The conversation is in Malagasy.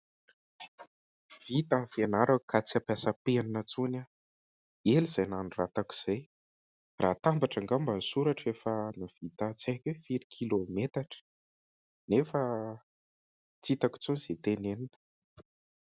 Vita ny fianarako ka tsy ampiasa penina intsony aho. Ela izay nanoratako izay, raha hatambatra angamba ny soratro efa nahavita tsy haiko hoe firy kilao metatra nefa tsy hitako intsony izay tenenina.